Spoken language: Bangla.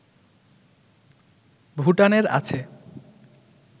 ভুটানের আছে